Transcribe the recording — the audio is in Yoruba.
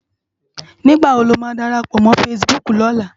Nigbá wó ló má dárápò mò fãsibúk lòlá?